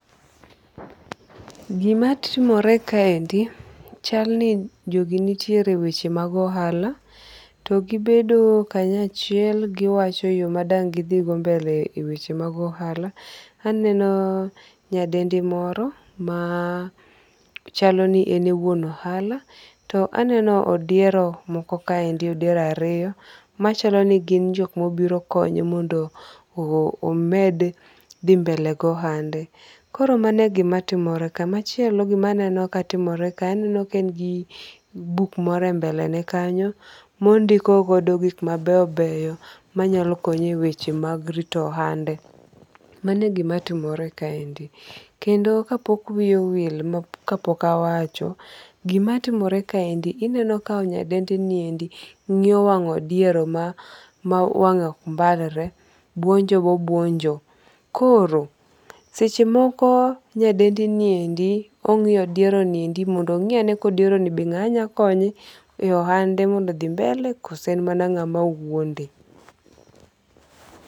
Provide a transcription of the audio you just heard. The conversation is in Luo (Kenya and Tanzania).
Gima timore kaendi chalni jogi nitiere weche mag ohala. To gibedo kanyachiel giwacho yo ma dang' gidhigo mbele e weche mag ohala. Aneno nyadendi moro machalo ni en e wuon ohala. To aneno odiero moko kaendi odiero ariyo machalo ni gin jok mobiro konye mondo omed dhi mbele[sc] gohande. Koro mano e gima timore ka. Machielo gimaneno katimore ka. Aneno ka en gi buk moro e mbele ne kanyo mondiko godo gik mabeyo beyo manyalo konye e weche mag rito ohande. Mano e gima timore kaendi. Kendo ka pok wiya owil ka pok awacho. Gima timore kaendi ineno ka nyadendi niendi ng'iyo wang' odiero ma wang'e ok mbalore. Bwonjo bo bwonjo. Koro seche moko nyadendi ni endi ong'iyo odiero ni endi mondo ong'i ane ka odiero ni be ng'a nyakonye e hande mondo odhi mbele koso en mana ng'a ma wuonde.